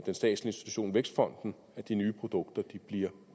institution vækstfonden at de nye produkter bliver